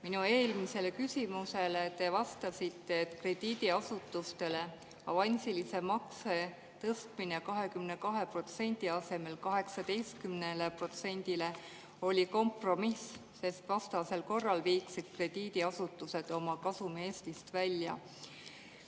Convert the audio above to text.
Minu eelmisele küsimusele te vastasite, et krediidiasutustele avansilise makse tõstmine 22% asemel 18%-le oli kompromiss, sest vastasel korral viiksid krediidiasutused oma kasumi Eestist välja.